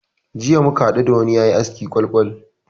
Jiya muka hadu da wani yayi askin kwal-kwal.